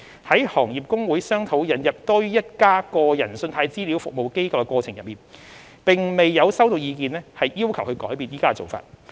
在行業公會商討引入多於一家個人信貸資料服務機構的過程中，並未有收到意見要求改變現時的做法。